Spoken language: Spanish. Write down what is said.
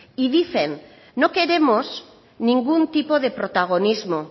y dicen no queremos ningún tipo de protagonismo